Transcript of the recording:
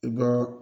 I bɔ